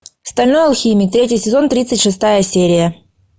стальной алхимик третий сезон тридцать шестая серия